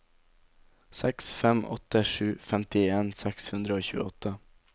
seks fem åtte sju femtien seks hundre og tjueåtte